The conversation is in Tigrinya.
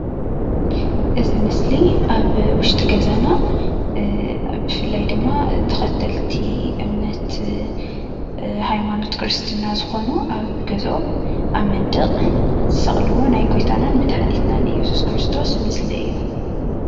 እዚ ምስሊ ኣብ ውሽጢ ገዛና ፋላይ ድማ ናይ ኬክርስትና እምነት ተኸተልቲ ዝኾኑ ኣብ መንደቅ ገዝኦም ዝሰቅልዎ ናይ መድሓኒትና እየሱስ ክርቶስ እዩ።